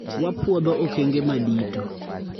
Wapwodho okenge madito